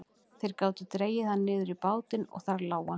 Þeir gátu dregið hann niður í bátinn og þar lá hann.